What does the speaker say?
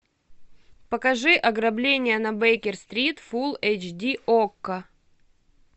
покажи ограбление на бейкер стрит фулл эйч ди окко